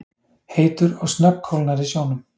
heitur og snöggkólnar í sjónum.